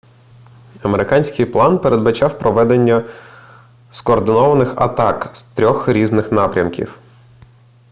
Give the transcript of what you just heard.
американський план передбачав проведення скоординованих атак з 3 різних напрямків